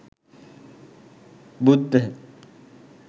buddha